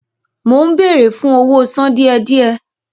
Mó ń béèrè fún owó sàn díẹ̀-díẹ̀